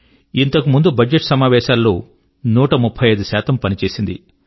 ఇంతకు ముందు బడ్జెట్ సమావేశాల్లో 135 శాతము పని చేసింది